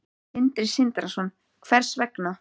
Sindri Sindrason: Hvers vegna?